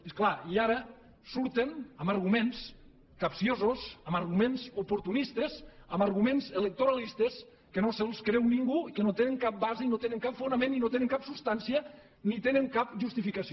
i és clar ara surten amb arguments capciosos amb arguments oportunistes amb arguments electoralistes que no se’ls creu ningú i que no tenen cap base i no tenen cap fonament i no tenen cap substància ni tenen cap justificació